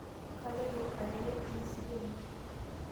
Kaloito arere ntiisi penyo.